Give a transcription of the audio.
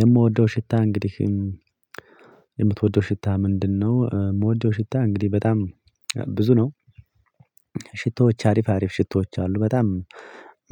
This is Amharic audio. የምወደው ሽታ እንግዲህ፤ የምትወደው ሽታ ምንድነው? የምወደው ሽታ እንግዲህ በጣም ብዙ ነው። ሽቶዎች አሪፍ አሪፍ ሽቶዎች አሉ በጣም